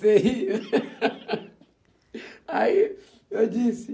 Você ri? Aí, eu disse